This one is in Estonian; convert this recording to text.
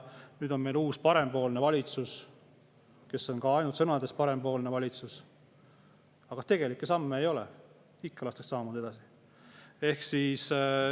Nüüd on meil uus parempoolne valitsus, kes on ainult sõnades parempoolne valitsus, aga tegelikke samme ei ole, ikka lastakse samamoodi edasi.